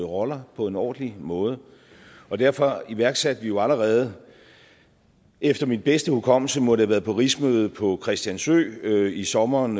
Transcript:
roller på en ordentlig måde og derfor iværksatte vi jo allerede efter min bedste hukommelse må det have været på rigsmødet på christiansø i sommeren